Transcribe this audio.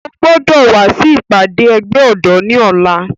O gbọdọ wa si ipade ẹgbẹ ọdọ ni ọla!